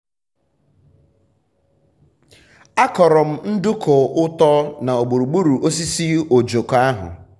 um a kọrọ m nduku-ụtọ na gburugburu osisi ojoko ahụ.